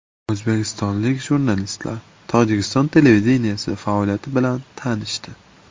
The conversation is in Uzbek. O‘zbekistonlik jurnalistlar Tojikiston televideniyesi faoliyati bilan tanishdi .